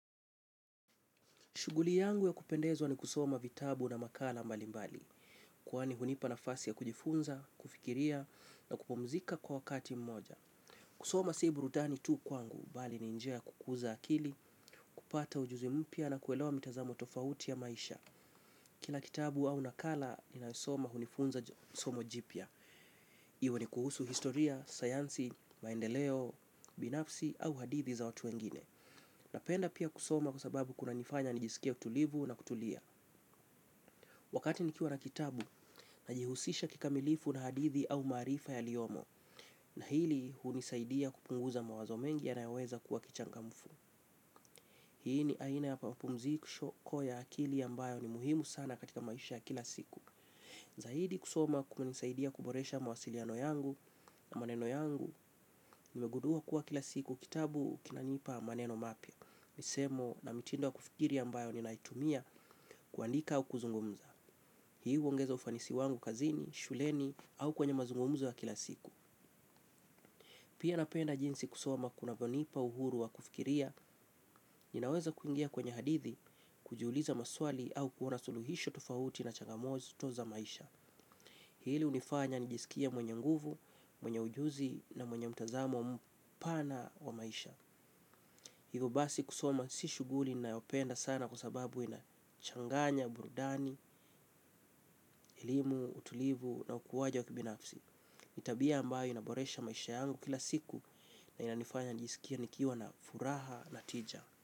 Shuguli yangu ya kupendezwa ni kusoma vitabu na makala mbali mbali. Kwani hunipa nafasi ya kujifunza, kufikiria na kupumzika kwa wakati mmoja. Kusoma sii burudani tu kwangu, bali ni njia kukuza akili, kupata ujuzi mpya na kuelewa mitazamo tofauti ya maisha. Kila kitabu au nakala ninaosoma hunifunza somo jipya. Iwa ni kuhusu historia, sayansi, maendeleo, binafsi au hadithi za watu wengine. Napenda pia kusoma kwa sababu kunanifanya nijisikie utulivu na kutulia. Wakati nikiwa na kitabu, najihusisha kikamilifu na hadithi au maarifa yaliyomo, na hili hunisaidia kupunguza mawazo mengi yanayoweza kuwa kichangamfu. Hii ni aina ya pamapumzikushoko ya akili ya mbayo ni muhimu sana katika maisha ya kila siku. Zaidi kusoma kumenisaidia kuboresha mawasiliano yangu na maneno yangu, nimegudua kuwa kila siku kitabu kinanipa maneno mapya. Misemo na mitindo ya kufikiri ya mbayo ni naitumia kuandika au kuzungumza. Hii uongeza ufanisi wangu kazini, shuleni au kwenye mazungumuzo wa kila siku. Pia napenda jinsi kusoma kunavyonipa uhuru wa kufikiria. Ninaweza kuingia kwenye hadithi, kujiuliza maswali au kuona suluhisho tufauti na changamoto za maisha. Hili unifanya nijisikia mwenye nguvu, mwenye ujuzi na mwenye mtazamo mpana wa maisha. Higo basi kusoma si shuguli nayopenda sana kwa sababu ina changanya, burudani, elimu, utulivu na ukuwaji wa kibinafsi tabia ambayo inaboresha maisha yangu kila siku na inanifanya njisikie nikiwa na furaha na tija.